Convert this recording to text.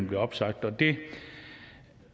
bliver opsagt og det